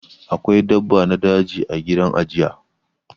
Akwai dabba na daji ã gidan ajiye.